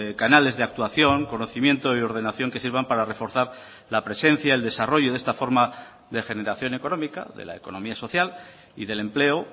canales de actuación conocimiento y ordenación que sirvan para reforzar la presencia el desarrollo de esta forma de generación económica de la economía social y del empleo